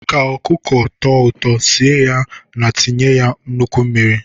Ka anụ ọkụkọ tọọ ụtọ, sie ya na-etinye ya nnukwu mmiri.